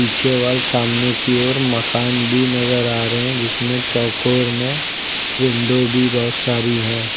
पीछे वाले सामने की ओर मकान भी नजर आ रहे हैं जिसमें चौकोर मे विंडो भी बहुत सारी है।